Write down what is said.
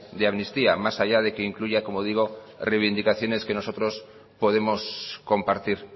de amnistía más allá de que incluya como digo reivindicaciones que nosotros podemos compartir